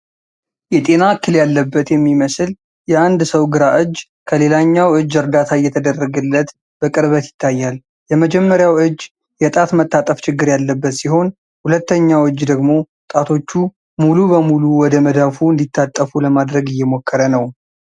የጤና እክል ያለበት የሚመስል የአንድ ሰው ግራ እጅ ከሌላኛው እጅ እርዳታ እየተደረገለት በቅርበት ይታያል። የመጀመሪያው እጅ የጣት መታጠፍ ችግር ያለበት ሲሆን፣ ሁለተኛው እጅ ደግሞ ጣቶቹ ሙሉ በሙሉ ወደ መዳፉ እንዲታጠፉ ለማድረግ እየሞከረ ነው።